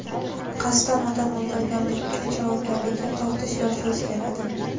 Qasddan odam o‘ldirganlik uchun javobgarlikka tortish yoshi o‘zgaradi.